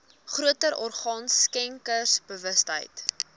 groter orgaan skenkersbewustheid